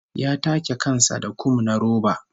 Ya take kan sa da kum na roba